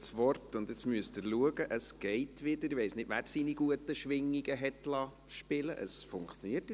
Das Mikrofon funktioniert wieder, ich weiss nicht, wer seine guten Schwingungen spielen liess.